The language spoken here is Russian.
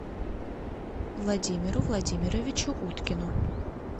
владимиру владимировичу уткину